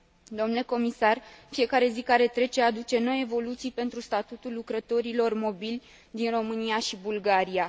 Domnule Comisar, fiecare zi care trece aduce noi evoluții pentru statutul lucrătorilor mobili din România și Bulgaria.